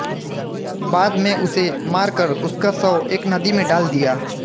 बाद में उसे मारकर उसका शव एक नदी में डाल दिया